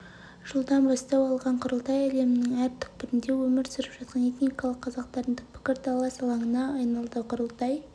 жылдан бастау алған құрылтай әлемнің әр түкпірінде өмір сүріп жатқан этникалық қазақтардың пікірталас алаңына айналды құрылтай